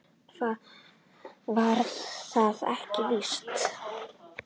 Væri það ekki víst?